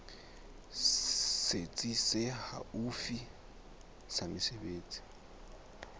setsi se haufi sa mesebetsi